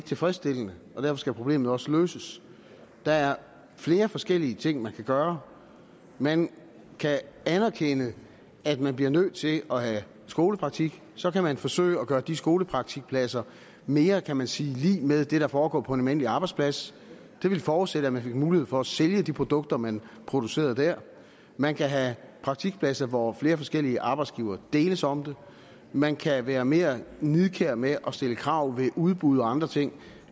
tilfredsstillende og derfor skal problemet også løses der er flere forskellige ting man kan gøre man kan anerkende at man bliver nødt til at have skolepraktik så kan man forsøge at gøre de skolepraktikpladser mere kan man sige lig med det der foregår på en almindelig arbejdsplads det ville forudsætte at man fik mulighed for at sælge de produkter man producerede der man kan have praktikpladser hvor flere forskellige arbejdsgivere deles om det man kan være mere nidkær med at stille krav ved udbud og andre ting